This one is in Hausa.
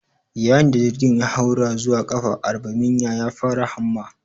Yayin da jirgin ya haura zuwa ƙafa arbaminya, ya fara hamma